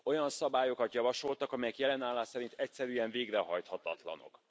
Olyan szabályokat javasoltak, amelyek jelen állás szerint egyszerűen végrehajthatatlanok.